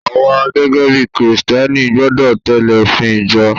awa gẹgẹ bí Kristẹni gbọdọ tẹle ofin ìjọ